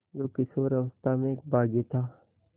जो किशोरावस्था में एक बाग़ी था